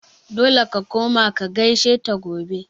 Dole ka koma ka gaishe ta gobe!